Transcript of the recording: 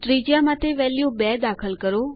ત્રિજ્યા માટે વેલ્યુ ૨ દાખલ કરો